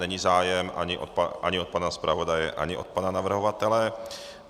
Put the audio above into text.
Není zájem ani od pana zpravodaje, ani od pana navrhovatele.